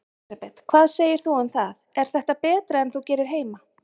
Elísabet: Hvað segir þú um það, er þetta betra en þú gerir heima?